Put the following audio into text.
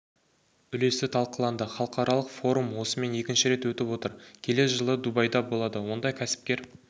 үлесі талқыланды халықаралық форум осымен екінші рет өтіп отыр келер жылы дубайда болады онда кәсіпкер